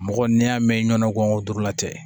Mɔgɔ n'i y'a mɛn ɲɔn ko durula tɛ